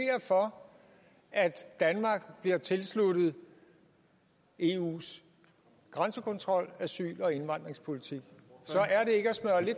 for at danmark bliver tilsluttet eus grænsekontrol og asyl og indvandringspolitik